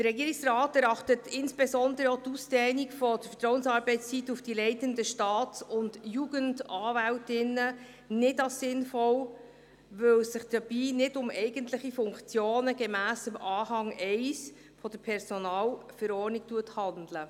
Der Regierungsrat erachtet insbesondere auch die Ausdehnung der Vertrauensarbeitszeit auf die leitenden Staats- und Jugendanwältinnen nicht als sinnvoll, da es sich nicht um eigentliche Funktionen gemäss Anhang 1 der Personalverordnung (PV) handelt.